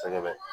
Sɛgɛ bɛ